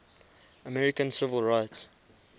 american civil rights